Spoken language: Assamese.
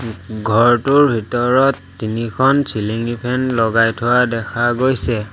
ঘৰটোৰ ভিতৰত তিনিখন চিলিঙি ফেন লগাই থোৱা দেখা গৈছে।